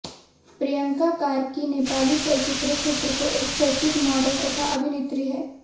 प्रियंका कार्की नेपाली चलचित्र क्षेत्र को एक चर्चित मोडल तथा अभिनेत्री हैं